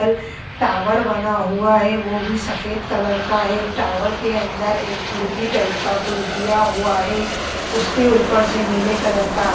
tower बना हुआ हैं वह भी सफ़ेद कलर का हैं टावर खिड़की टाइप का कुछ दिया हुआ हैं उसके ऊपर ब नीले कलर का आस----